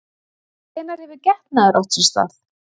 En hvenær hefur getnaður átt sér stað?